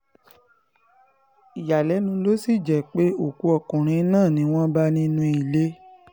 ìyàlẹ́nu ló sì jẹ́ pé òkú ọkùnrin náà ni wọ́n bá nínú ilé